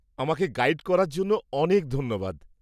আমাকে গাইড করার জন্য অনেক ধন্যবাদ।